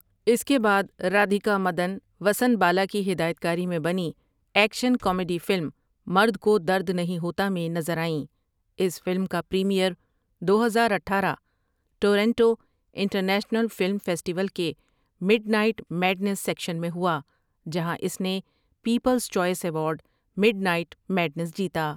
اس کے بعد رادھیکا مدن وسن بالا کی ہدایتکاری میں بنی action comedy film Mard Ko Dard Nahin Hota میں نظر آئیں اس فلم کا پریمیئر دو ہزار اٹھآرہ Toronto international film festival midnight night میڈنیس سیکشن میں ہوا جہاں اس نے people's choice award mid night madness جیتا۔